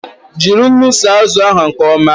Jiri unu saa azụ ahu nke ọma!